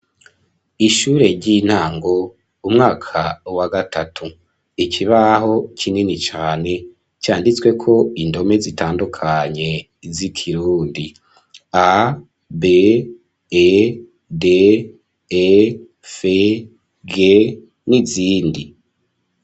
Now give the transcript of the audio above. Ishure ry'intango umwaka wagatatu, ikibaho kinini cane canditseko indome zitandukanye zikirundi A B,E,D,E,F,V,G nizindi.